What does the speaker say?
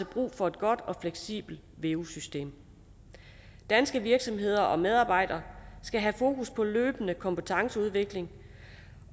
brug for et godt og fleksibelt veu system danske virksomheder og medarbejdere skal have fokus på løbende kompetenceudvikling